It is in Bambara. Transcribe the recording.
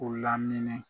U lamini